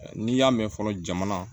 N'i y'a mɛn fɔlɔ jamana